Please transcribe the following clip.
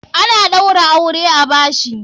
Ana ɗaura aure a bashi.